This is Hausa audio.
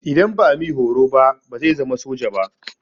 Idan ba a mi horo ba bazai zama soja ba.